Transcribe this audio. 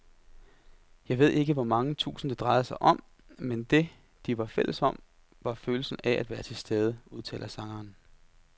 Jeg ved ikke hvor mange tusind, det drejede sig om, men det, de var fælles om, var følelsen af at være tilstede, udtaler sangeren.